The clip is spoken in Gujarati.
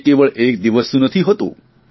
તે કેવળ એક દિવસનું નથી હોતું